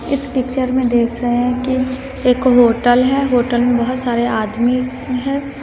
इस पिक्चर में देख रहे हैं कि एक होटल है होटल में बहोत सारे आदमी है।